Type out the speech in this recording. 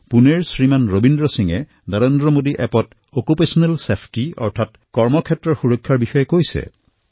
পুণেৰ পৰা শ্ৰীমান ৰবীন্দ্ৰ সিঙে নৰেন্দ্ৰ মোদী মবাইল এপত নিজৰ মন্তব্যত অকিউপেশ্যনেল ছেফটি সন্দৰ্ভত লিখিছে